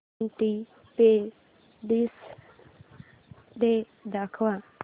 independence day दाखव